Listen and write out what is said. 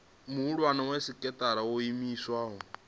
muhulwane wa sekithara yo iimisaho